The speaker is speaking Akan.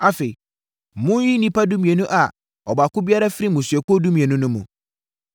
Afei, monyiyi nnipa dumienu a ɔbaako biara firi mmusuakuo dumienu no mu.